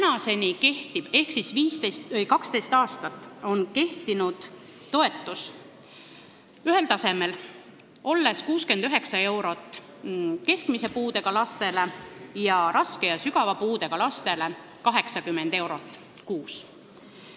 See toetus on 12 aastat olnud samal tasemel: keskmise puudega lastele 69 eurot ning raske ja sügava puudega lastele 80 eurot kuus.